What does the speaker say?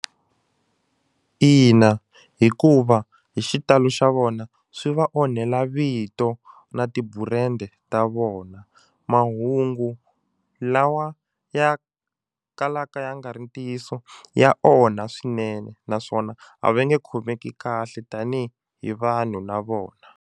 Ina, hikuva hi xitalo xa vona swi va onhela vito na tiburende ta vona mahungu lawa ya kalaka ya nga ri ntiyiso ya onha swinene naswona a va nge khomeki kahle tanihi hi vanhu na vona.